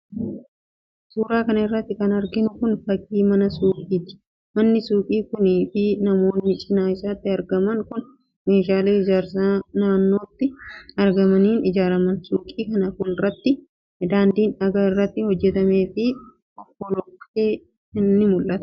Suura kana irratti kan arginu kun, fakkii mana suuqiti. Manni suuqii kunii fi manoonni cinaa isaattti argaman kun ,meeshaalee ijaarsaa naannotti argamaniin ijaaraaman. Suuqii kana fuulduratti daandiin dhagaa irraa hojjatamee fi fofolloqe ni mul'ata.